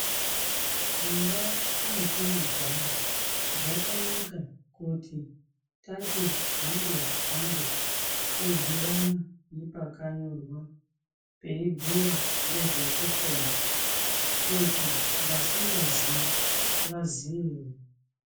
Mundau mwetiri kugara zvakanaka kuti tati hambe hambe todhibana nepakanyorwa peibhuya ngezvekupona kuti vasingaziye vaziye.